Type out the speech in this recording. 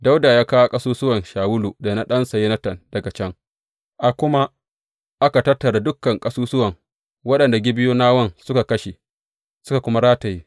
Dawuda ya kawo ƙasusuwan Shawulu da na ɗansa Yonatan daga can, a kuma aka tattara dukan ƙasusuwan waɗanda Gibeyonawan suka kashe, suka kuma rataye.